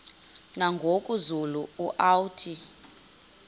nangoku zulu uauthi